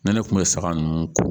Ne ne kun bɛ saga ninnu ko